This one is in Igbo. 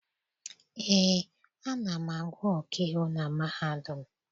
Eé, ana m agụ ọkaiwu na mahadum.